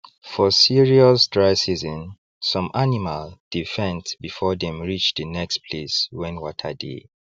for serious dry season some animal dey faint before them reach the next place wen water dey